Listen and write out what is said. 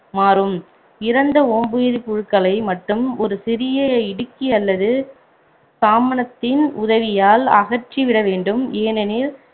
மாறும் இறந்த ஓம்புயிரி புழுக்களை மட்டும் ஒரு சிறிய இடுக்கி அல்லது சாமனத்தின் உதவியால் அகற்றி விட வேண்டும் ஏனெனில்